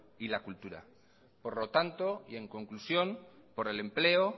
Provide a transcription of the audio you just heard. y la cultura por lo tanto y en conclusión por el empleo